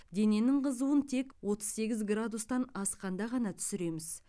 дененің қызуын тек отыз сегіз градустан асқанда ғана түсіреміз